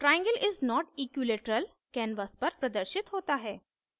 triangle is not equilateral canvas पर प्रदर्शित होता है